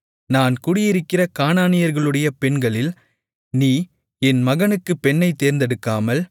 நான் குடியிருக்கிற கானானியர்களுடைய பெண்களில் நீ என் மகனுக்குப் பெண்ணைத் தேர்ந்தெடுக்காமல்